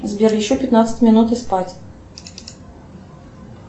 сбер еще пятнадцать минут и спать